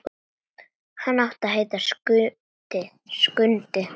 Hann átti að heita Skundi.